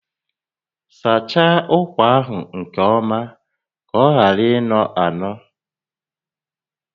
Sachaa ụkwa ahụ nke ọma ka ọ ghara ịnọ anọ!